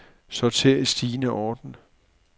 Sorter i stigende orden.